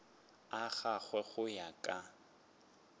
a gagwe go ya ka